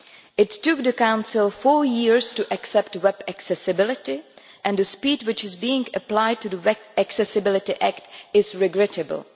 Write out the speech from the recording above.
It took the Council four years to accept web accessibility and the speed which is being applied to the Web Accessibility Act is regrettable.